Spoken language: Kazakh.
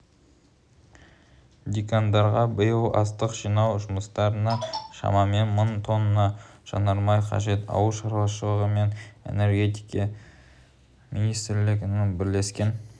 диқандарға биыл астық жинау жұмыстарына шамамен мың тонна жанармай қажет ауыл шаруашылығы мен энергетике министрліктерінің бірлескен